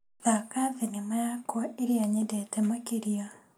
Thaka thinema yakwa ĩrĩa nyendete makĩria .